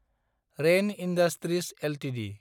rain industries Ltd